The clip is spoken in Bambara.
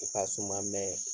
U ka suman